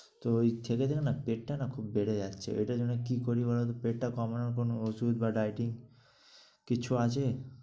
তো ঐ ছেলেদের না পেটটা না খুবই বেড়ে যাচ্ছে। এটার জন্য কী করি বলত? পেটটা কমানোর কোন ওষুধ বা dieting কিছু আছে?